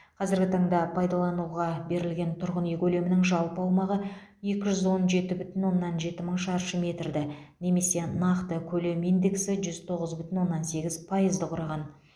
қазіргі таңда пайдалануға берілген тұрғын үй көлемінің жалпы аумағы екі жүз он жеті бүтін оннан жеті мың шаршы метрді немесе нақты көлем индексі жүз тоғыз бүтін оннан сегіз пайызды құраған